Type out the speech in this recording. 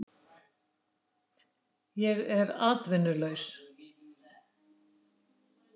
Ég er atvinnulaus